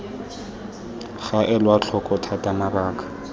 ga elwa tlhoko thata mabaka